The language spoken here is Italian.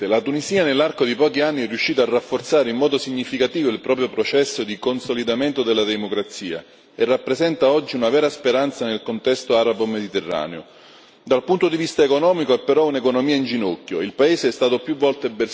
Signora Presidente, onorevoli colleghi, la Tunisia nell'arco di pochi anni è riuscita a rafforzare in modo significativo il proprio processo di consolidamento della democrazia e rappresenta oggi una vera speranza nel contesto arabo mediterraneo. Dal punto di vista economico ha però un'economia in ginocchio.